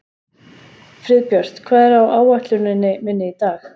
Friðbjört, hvað er á áætluninni minni í dag?